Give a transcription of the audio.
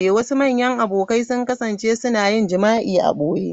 Wasu manyan abokai sun kasance suna yin jima'i a ɓoye.